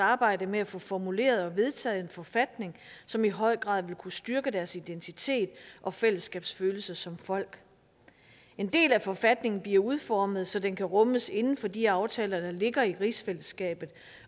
arbejde med at få formuleret og vedtaget en forfatning som i høj grad vil kunne styrke deres identitet og fællesskabsfølelse som folk en del af forfatningen bliver udformet så den kan rummes inden for de aftaler der ligger i rigsfællesskabet